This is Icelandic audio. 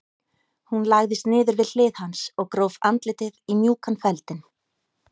Hún lagðist niður við hlið hans og gróf andlitið í mjúkan feldinn.